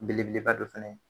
Belebeleba don fɛnɛ ye